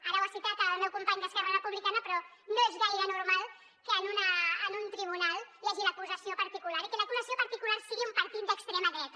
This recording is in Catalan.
ara ho ha citat el meu company d’esquerra republicana però no és gaire normal que en un tribunal hi hagi l’acusació particular i que l’acusació particular sigui un partit d’extrema dreta